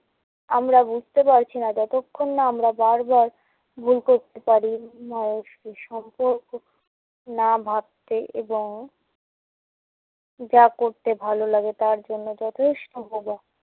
আমরা বুঝতে পারছি না যতক্ষণ না আমরা বার বার ভূল করতে পারি, মানুষকে সম্পর্ক না ভাবতে এবং যা করতে ভালো লাগে তার জন্য যথেষ্ট মজা